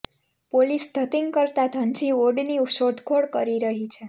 police ધતીંગ કરતા ધનજી ઓડની શોધખોળ કરી રહી છે